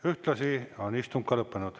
Ühtlasi on istung lõppenud.